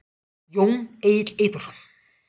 Jón Egill Eyþórsson.